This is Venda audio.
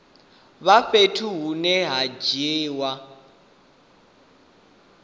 vha fhethu hune ha dzuliwa